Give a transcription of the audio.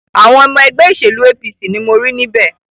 Àwọn ọmọ ẹgbẹ́ òṣèlú APC ni mo rí níbẹ̀.